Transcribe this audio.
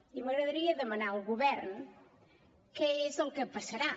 i m’agradaria demanar al govern què és el que passarà